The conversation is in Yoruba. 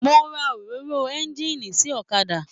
Mo rà òróró ẹ̀ngiini sí ọ̀kàdà.